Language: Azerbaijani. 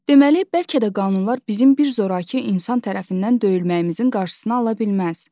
Deməli, bəlkə də qanunlar bizim bir zorakı insan tərəfindən döyülməyimizin qarşısını ala bilməz.